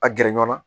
A gɛrɛ ɲɔnna